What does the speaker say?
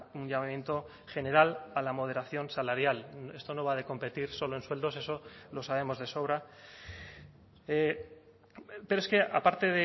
un llamamiento general a la moderación salarial esto no va de competir solo en sueldos eso lo sabemos de sobra pero es que aparte